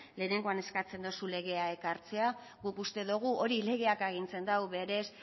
lehenengoan eskatzen duzu legea ekartzea guk uste dugu hori legeak agintzen du berez